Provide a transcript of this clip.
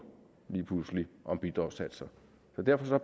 lige pludselig om bidragssatser så derfor